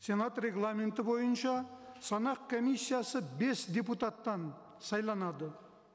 сенат регламенті бойынша санақ комиссиясы бес депутаттан сайланады